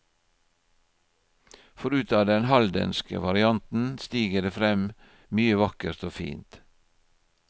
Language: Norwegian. For ut av den haldenske varianten stiger det frem mye vakkert og fint.